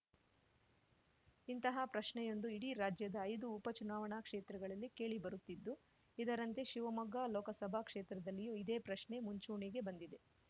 ಇಂತಹ ಪ್ರಶ್ನೆಯೊಂದು ಇಡೀ ರಾಜ್ಯದ ಐದು ಉಪ ಚುನಾವಣಾ ಕ್ಷೇತ್ರಗಳಲ್ಲಿ ಕೇಳಿಬರುತ್ತಿದ್ದು ಇದರಂತೆ ಶಿವಮೊಗ್ಗ ಲೋಕಸಭಾ ಕ್ಷೇತ್ರದಲ್ಲಿಯೂ ಇದೇ ಪ್ರಶ್ನೆ ಮುಂಚೂಣಿಗೆ ಬಂದಿದೆ